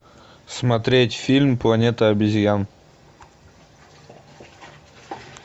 смотреть фильм планета обезьян